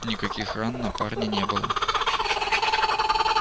никаких ран на парне не было